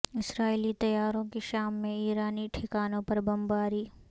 اسرائیلی طیاروں کی شام میں ایرانی ٹھکانوں پر بمباری